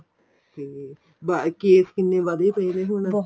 ਹਮ ਬੱਸ case ਕਿੰਨੇ ਵੱਧੇ ਪਏ ਨੇ ਹੁਣ